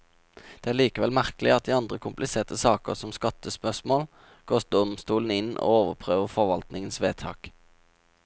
Det er likevel merkelig at i andre kompliserte saker, som skattespørsmål, går domstolene inn og overprøver forvaltningens vedtak.